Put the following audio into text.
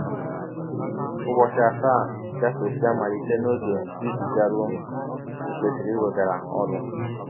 Ụbọchị asaa gafesịa malite n’ọge i ji garụọ i kwesịrị iweghara ọrụ. ”